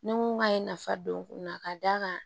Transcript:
Ni mun b'a ye nafa don u la ka d'a kan